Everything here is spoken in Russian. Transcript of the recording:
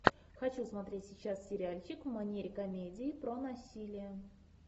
хочу смотреть сейчас сериальчик в манере комедия про насилие